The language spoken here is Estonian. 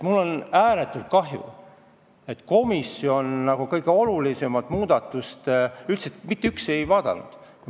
Mul on ääretult kahju, et komisjon kõige olulisemat muudatust üldse mitte ei vaadanud.